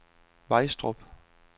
Vejstrup